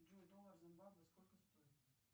джой доллар в зимбабве сколько стоит